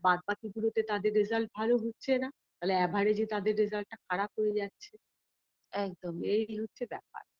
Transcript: বাদবাকি গুলোতে তাদের result ভালো হচ্ছে না ফলে average -এ result টা খারাপ হয়ে যাচ্ছে একদম এই হচ্ছে ব্যাপার